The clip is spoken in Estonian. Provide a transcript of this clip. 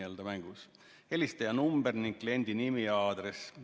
Esimene, helistaja number ning kliendi nimi ja aadress.